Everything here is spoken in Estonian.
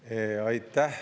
Aitäh!